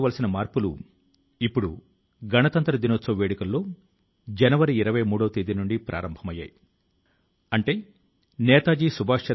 కానీ ప్రసార మాధ్యమాలకు దూరంగా వార్తాపత్రికల ఆకర్షణలకు దూరంగా ఎంతో మంది మంచి ని చేస్తున్నారనేది దశాబ్దాల అనుభవం